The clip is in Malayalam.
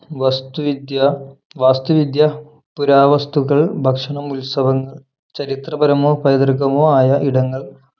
വസ്തുവിദ്യ വാസ്തുവിദ്യ പുരാവസ്തുക്കൾ ഭക്ഷണം ഉത്സവങ്ങൾ ചരിത്രപരമോ പൈതൃകമോ ആയ ഇടങ്ങൾ